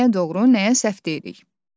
Nəyə doğru, nəyə səhv deyirik?